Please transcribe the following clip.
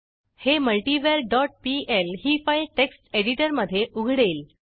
हे multiver dot PL ही file text एडिटरमधे उघडेल